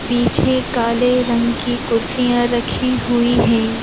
पीछे काले रंग की कुर्सियां रखी हुई हैं ।